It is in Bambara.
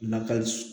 Nakɔ